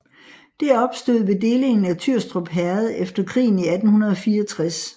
Det opstod ved delingen af Tyrstrup Herred efter krigen i 1864